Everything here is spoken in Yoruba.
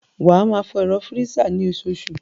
Wá máa fọ ẹ̀rọ fírísà ni osoosù